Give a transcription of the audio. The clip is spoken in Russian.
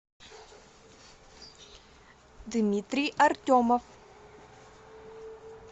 дмитрий артемов